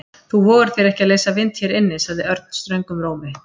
Þú vogar þér ekki að leysa vind hér inni sagði Örn ströngum rómi.